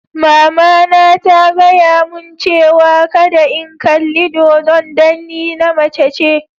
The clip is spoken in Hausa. Mama na ta gaya mun cewa kadda n'kalli dodo'n dan ni na mace ne.